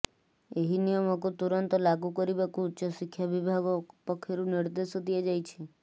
ଏହି ନିୟମକୁ ତୁରନ୍ତ ଲାଗୁ କରିବାକୁ ଉଚ୍ଚଶିକ୍ଷା ବିଭାଗ ପକ୍ଷରୁ ନିର୍ଦେଶ ଦିଆଯାଇଛି